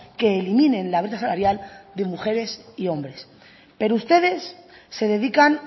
que eliminen la brecha salarial de mujeres y hombres pero ustedes se dedican